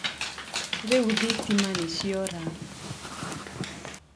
Rĩu thitima nĩciora